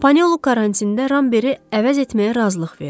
Panelu karantində Ramberi əvəz etməyə razılıq verdi.